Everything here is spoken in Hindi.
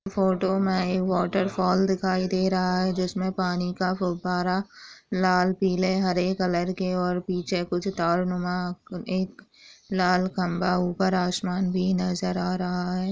फोटो में एक वॉटरफॉल दिखाई दे रहा है जिसमें पानी का फव्वारा लाल पीले हरे कलर के और पीछे कुछ तारों में एक लाल खंबा ऊपर आसमान भी नजर आ रहा है।